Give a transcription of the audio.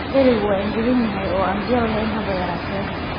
Dherigu waa engegan yahay oo aan biyo lahayn haba yaraatee.